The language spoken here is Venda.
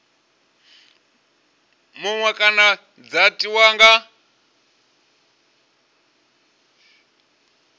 muṅwe kana dza tiwa nga